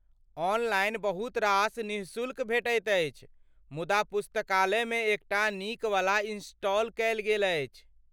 Online बहुत रास निःशुल्क भेटैत अछि, मुदा पुस्तकालयमे एकटा नीकवला इनस्टॉल कयल गेल अछि।